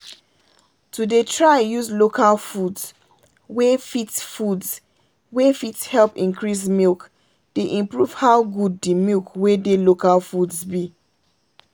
to dey try use local foods wey fit foods wey fit help increase milk dey improve how good the milk wey dey local foods be.